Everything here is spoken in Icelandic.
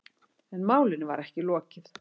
En málinu var ekki lokið.